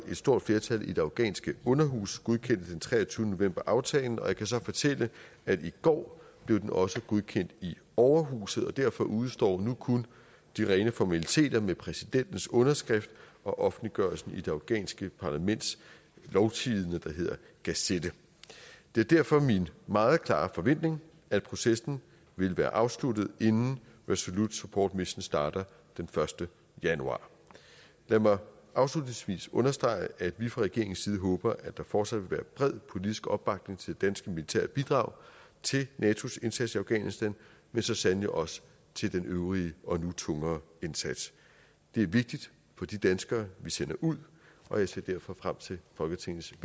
og et stort flertal i det afghanske underhus godkendte den treogtyvende november aftalen jeg kan så fortælle at i går blev den også godkendt i overhuset og derfor udestår nu kun de rene formaliteter med præsidentens underskrift og offentliggørelsen i det afghanske parlaments lovtidende der hedder gazette det er derfor min meget klare forventning at processen vil være afsluttet inden resolute support mission starter den første januar lad mig afslutningsvis understrege at vi fra regeringens side håber at der fortsat vil være bred politisk opbakning til det danske militære bidrag til natos indsats i afghanistan men så sandelig også til den øvrige og nu tungere indsats det er vigtigt for de danskere vi sender ud og jeg ser derfor frem til folketingets